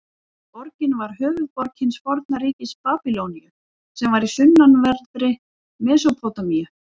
Borgin var höfuðborg hins forna ríkis Babýloníu sem var í sunnanverðri Mesópótamíu.